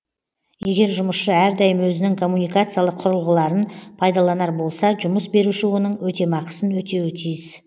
егер жұмысшы әрдайым өзінің коммуникациялық құрылғыларын пайдаланар болса жұмыс беруші оның өтемақысын өтеуі тиіс